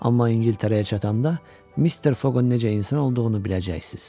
Amma İngiltərəyə çatanda Mister Foqun necə insan olduğunu biləcəksiniz.